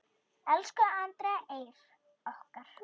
Elsku Andrea Eir okkar.